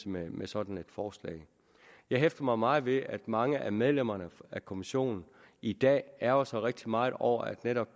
med med sådan et forslag jeg hæfter mig meget ved at mange af medlemmerne af kommissionen i dag ærgrer sig rigtig meget over at netop